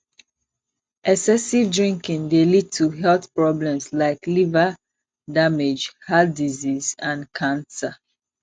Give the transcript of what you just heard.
excessive drinking dey lead to health problems like liver damage heart disease and cancer